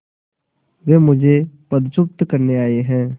वे मुझे पदच्युत करने आये हैं